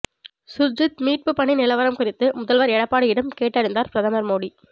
சுர்ஜித் மீட்பு பணி நிலவரம் குறித்து முதல்வர் எடப்பாடியிடம் கேட்டறிந்தார் பிரதமர் மோடி